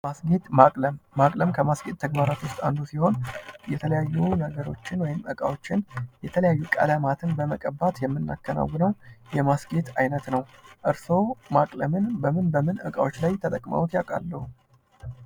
ማስጌጥ ማቅለም ማቅለም ከማስጌጥ ተግባራት ዉስጥ አንዱ ሲሆን የተለያዩ ነገሮችን ወይም እቃዎችን የተለያየ ቀለማትን በመቀባት የምናከናውነው የማስጌጥ አይነት ነው። እርሶ ማቅለምን በምን በምን እቃዎች ላይ ተጠቅመዉት ያውቃሉ?